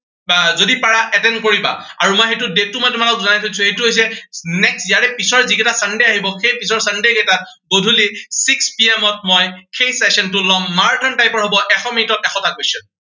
বা যদি পাৰা attend কৰিবা। আৰু মই সেইটো date মই তোমালোকক জনাই থৈ দিছো, সেইটো হৈছে next ইয়াৰে পিছৰ যিকেইটা sunday আহিব, সেই sunday কেইটা গধূলি six PM ত মই সেই session টো লম। মাৰাথান type ৰ হব, এশ মিনিটত এশটা question